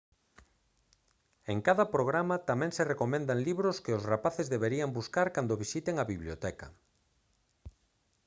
en cada programa tamén se recomendan libros que os rapaces deberían buscar cando visiten a biblioteca